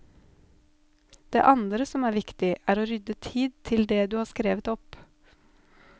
Det andre som er viktig, er å rydde tid til det du har skrevet opp.